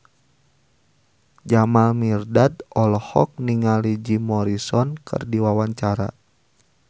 Jamal Mirdad olohok ningali Jim Morrison keur diwawancara